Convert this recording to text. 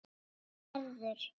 Hann verður.